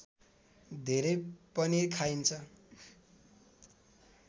धेरै पनिर खाइन्छ